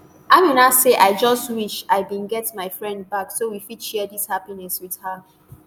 amina say i just wish i bin get my friend back so we fit share dis happiness wit her